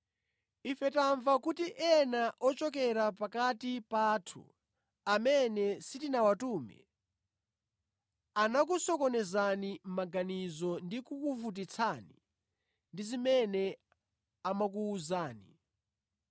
Ife tamva kuti anthu ena ochokera pakati pathu, amene sitinawatume anakusokonezani maganizo ndi kukuvutitsani ndi zimene amakuwuzani.